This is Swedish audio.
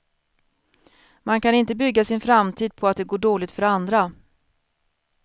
Man kan inte bygga sin framtid på att det går dåligt för andra.